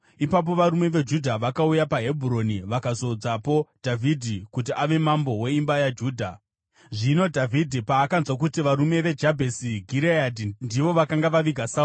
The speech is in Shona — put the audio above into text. Ipapo varume veJudha vakauya paHebhuroni vakazodzapo Dhavhidhi kuti ave mambo weimba yaJudha. Zvino Dhavhidhi paakanzwa kuti varume veJabheshi Gireadhi ndivo vakanga vaviga Sauro,